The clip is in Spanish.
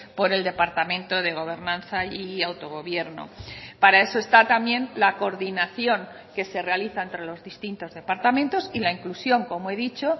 por el departamento de gobernanza y autogobierno para eso está también la coordinación que se realiza entre los distintos departamentos y la inclusión como he dicho